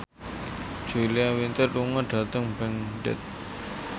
Julia Winter lunga dhateng Baghdad